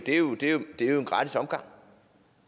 en gratis omgang